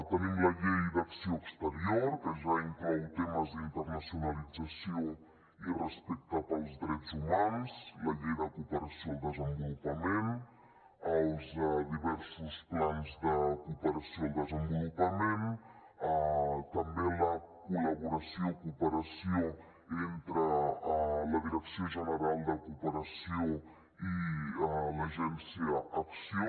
tenim la llei d’acció exterior que ja inclou temes d’internacionalització i respecte pels drets humans la llei de cooperació al desenvolupament els diversos plans de cooperació al desenvolupament també la col·laboració cooperació entre la direcció general de cooperació i l’agència acció